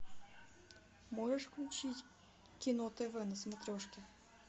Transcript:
можешь включить кино тв на смотрешке